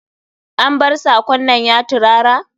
An bar sakon nan ya tirara?